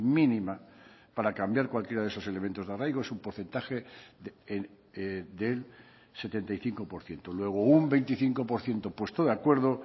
mínima para cambiar cualquiera de esos elementos de arraigo es un porcentaje del setenta y cinco por ciento luego un veinticinco por ciento puesto de acuerdo